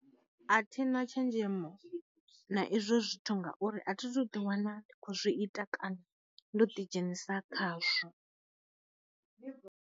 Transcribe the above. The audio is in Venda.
A thina tshenzhemo na izwo zwithu ngauri a thi thu ḓi wana ndi kho zwi ita kana ndo ḓi dzhenisa khazwo.